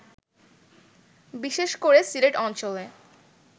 বিশেষ করে সিলেট অঞ্চলে